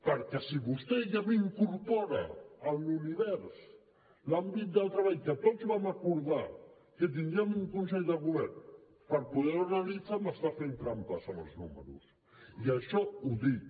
perquè si vostè ja m’incorpora en l’univers l’àmbit del treball que tots vam acordar que tindríem un consell de govern per poder ho analitzar m’està fent trampes amb els números i això ho dic